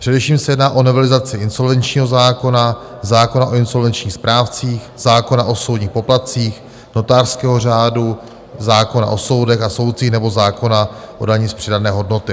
Především se jedná o novelizaci insolvenčního zákona, zákona o insolvenčních správcích, zákona o soudních poplatcích, notářského řádu, zákona o soudech a soudcích nebo zákona o dani z přidané hodnoty.